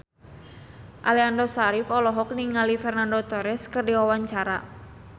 Aliando Syarif olohok ningali Fernando Torres keur diwawancara